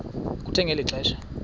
kuthe ngeli xesha